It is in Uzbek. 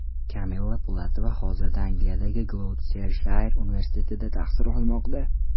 Kamilla Pulatova hozirda Angliyadagi Gloucestershire universitetida tahsil olmoqda.